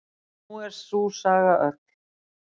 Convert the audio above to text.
En nú er sú saga öll.